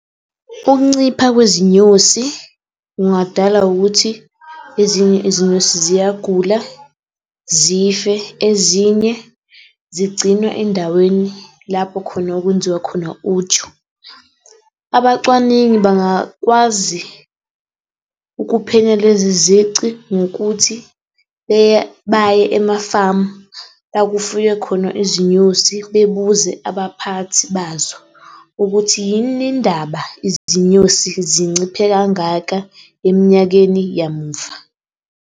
Ukuncipha kwezinyosi kungadalwa ukuthi ezinye izinyosi ziyagula, zife, ezinye zigcinwa endaweni lapho khona okwenziwa khona uju. Abacwaningi bangakwazi ukuphenya lezi zici ngokuthi baye emafamu la kufuywe khona izinyosi bebuze abaphathi bazo ukuthi yini indaba izinyosi zinciphe kangaka eminyakeni yamuva.